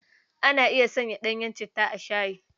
Ana iya sanya ɗanyen citta a shayi?